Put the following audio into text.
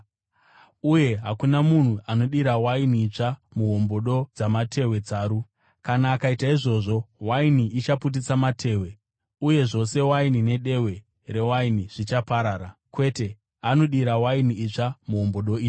Uye hakuna munhu anodira waini itsva muhombodo dzamatehwe tsaru. Kana akaita izvozvo, waini ichaputitsa matehwe, uye zvose waini nedehwe rewaini zvichaparara. Kwete, anodira waini itsva muhombodo itsva.”